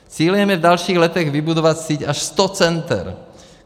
Cílem je v dalších letech vybudovat síť až sto center.